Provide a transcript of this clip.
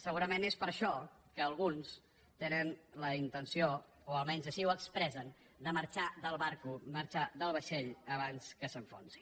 segurament és per això que alguns tenen la intenció o almenys així ho expressen de marxar del vaixell abans que s’enfonsi